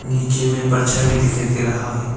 नीचे में परछाई भी दिखाई दे रहा है।